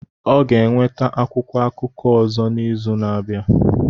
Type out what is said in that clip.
Ọ ga-enweta akwụkwọ akụkọ ọzọ n'izu na-abịa